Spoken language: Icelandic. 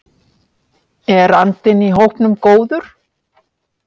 En er andinn í hópnum góður?